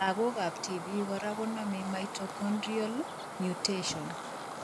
Lagok ab tibik kora konome mitochondrial mutation